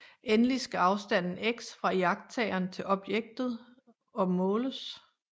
Endelig skal afstanden x fra iagttageren til objektet å måles